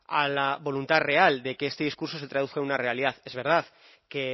a la voluntad real de que este discurso se traduzca en una realidad es verdad que